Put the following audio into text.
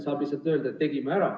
Saab lihtsalt öelda, et tegime ära.